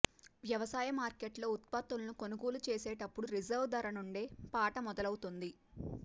వ్యవసాయ మార్కెట్లలో ఉత్పత్తులను కొనుగోలు చేసేటప్పుడు రిజర్వు ధర నుండే పాట మొదలవ్ఞతుంది